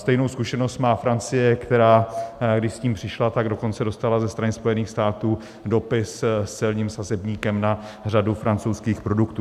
Stejnou zkušenost má Francie, která když s tím přišla, tak dokonce dostala ze strany Spojených států dopis s celním sazebníkem na řadu francouzských produktů.